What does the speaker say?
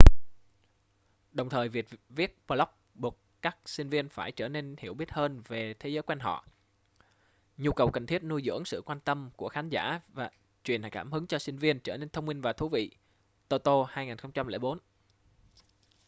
đồng thời việc viết blog buộc các sinh viên phải trở nên hiểu biết hơn về thế giới quanh họ”. nhu cầu cần thiết nuôi dưỡng sự quan tâm của khán giả truyền cảm hứng cho sinh viên để trở nên thông minh và thú vị toto 2004